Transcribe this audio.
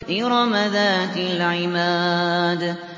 إِرَمَ ذَاتِ الْعِمَادِ